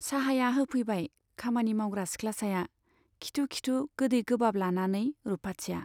चाहाया होफैबाय खामानि मावग्रा सिख्लासाया , खिथु खिथु गोदै गोबाब लानानै रुपाथिया।